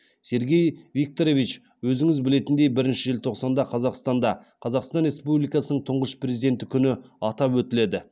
сергей викторович өзіңіз білетіндей бірінші желтоқсанда қазақстанда қазақстан республикасының тұңғшы президенті күні атап өтіледі